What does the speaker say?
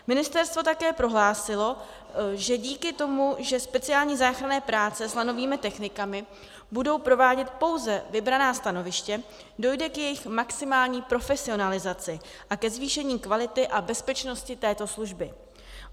Ministerstvo také prohlásilo, že díky tomu, že speciální záchranné práce s lanovými technikami budou provádět pouze vybraná stanoviště, dojde k jejich maximální profesionalizaci a ke zvýšení kvality a bezpečnosti této služby.